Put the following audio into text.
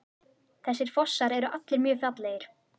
Þessir fossar eru allir mjög fallegir.